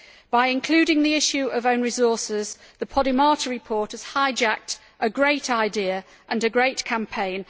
By including the issue of own resources, the Podimata report has hijacked a great idea and a great campaign.